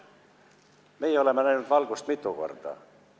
Meie oleme näinud valgust mitu korda.